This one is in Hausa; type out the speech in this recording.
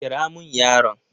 Kira mun yaron.